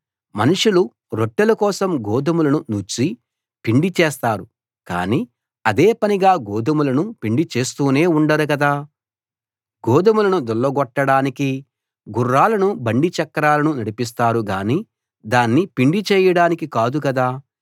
మనుషులు రొట్టెల కోసం గోధుమలను నూర్చి పిండి చేస్తారు కానీ అదేపనిగా గోధుమలను పిండి చేస్తూనే ఉండరు కదా గోధుమలను దుళ్ళగొట్టడానికి గుర్రాలనూ బండి చక్రాలనూ నడిపిస్తారు గానీ దాన్ని పిండి చేయడానికి కాదు కదా